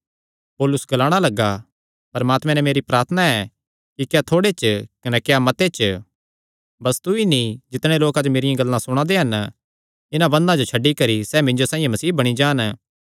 पौलुस ग्लाणा लग्गा परमात्मे नैं मेरी प्रार्थना ऐ कि क्या थोड़े च क्या मते च बस तू ई नीं जितणे लोक अज्ज मेरियां गल्लां सुणा दे हन इन्हां बंधना जो छड्डी करी सैह़ मिन्जो साइआं मसीह बणी जान